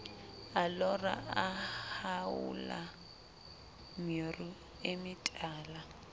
a lora a haola meruemetala